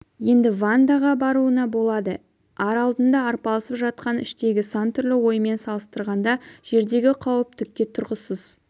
енді вандаға баруына болады ар алдында арпалысып жатқан іштегі сан түрлі оймен салыстырғанда жердегі қауіп түкке тұрғысыз